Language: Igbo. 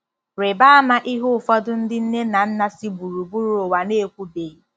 Rịba ama ihe ụfọdụ ndị nne na nna si gburugburu ụwa na-ekwubeghị.